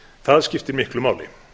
það skiptir miklu máli